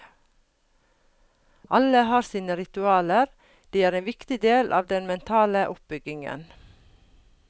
Alle har sine ritualer, de er en viktig del av den mentale oppbyggingen.